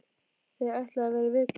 Þau ætluðu að vera í viku.